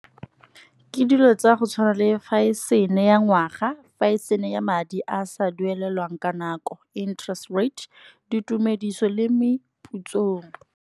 Ke dilo tsa go tshwana le ya ngwaga, ya madi a a sa duelelwang ka nako, interest rate ditumediso le meputsong.